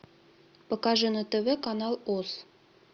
покажи на тв канал оз